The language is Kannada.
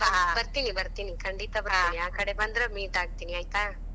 ಬರ್ತೀನಿ ಬರ್ತೀನಿ , ಖಂಡಿತ ಬರ್ತೀನಿ, ಆ ಕಡೆ ಬಂದರ meet ಆಗ್ತೇನಿ ಆಯ್ತಾ.